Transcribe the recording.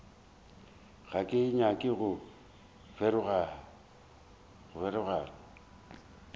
ga ke nyake go feroga